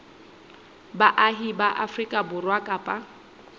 baahi ba afrika borwa kapa